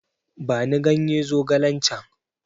Bani ganye zogalen can!